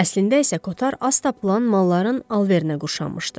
Əslində isə Kotar az tapılan malların alverinə qoşulmuşdu.